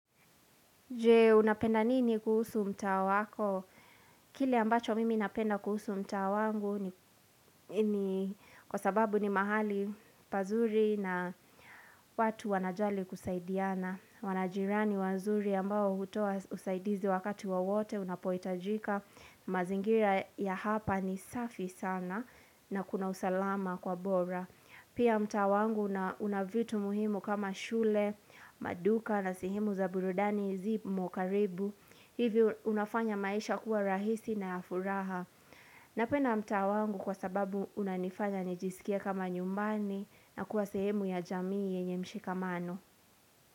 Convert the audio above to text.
Je, unapenda nini kuhusu mtaa wako? Kile ambacho mimi napenda kuhusu mtaa wangu ni kwa sababu ni mahali pazuri na watu wanajali kusaidiana. Wana jirani wanzuri ambao hutoa usaidizi wakati wowote unapohitajika. Mazingira ya hapa ni safi sana na kuna usalama kwa bora. Pia mtaa wangu una una vitu muhimu kama shule, maduka na sehemu za burudani zi mo karibu Hivyo unafanya maisha kuwa rahisi na ya furaha Napenda mtaa wangu kwa sababu unanifanya nijisikie kama nyumbani na kuwa sehemu ya jamii yenye mshikamano.